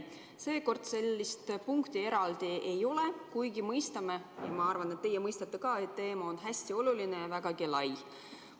Seekord sellist punkti eraldi ei ole, kuigi minu arvates teie mõistate ka, et teema on hästi oluline ja vägagi lai.